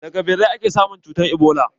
Daga ɓirai ake samun cutar ebola.